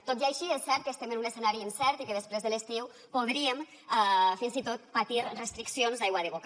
tot i així és cert que estem en un escenari incert i que després de l’estiu podríem fins i tot patir restriccions d’aigua de boca